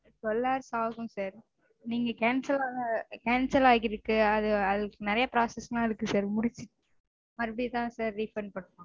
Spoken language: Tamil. Twelve hours ஆகும் sir. நீங்க cancel ஆகு ஆகிருக்கு. அதுஅதுக்கு நெறைய process -லாம் இருக்கு sir. முடிச்சி மறுபடியும்தா sir refund பண்ணனும்